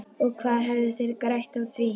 Og hvað hefðu þeir grætt á því?